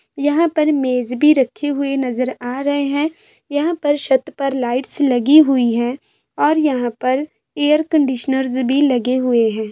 यहाँ पर मेज भी रखे हुए नजर आ रहे है यहाँ पर शत पर लाइट्स लगी हुई है और यहाँ पर एयर कंडिशनरर्स भी लगे हुए है ।